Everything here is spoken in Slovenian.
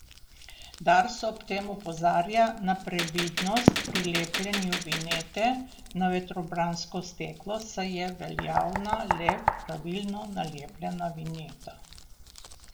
Dars ob tem opozarja na previdnost pri lepljenju vinjete na vetrobransko steklo, saj je veljavna le pravilno nalepljena vinjeta.